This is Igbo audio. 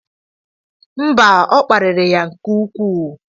Mba, ọ kparịrị ya nke ukwuu.